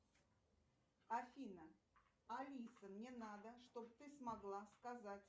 афина алиса мне надо чтоб ты смогла сказать